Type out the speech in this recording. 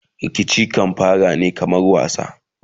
Rikici kan fara ne kaman wasa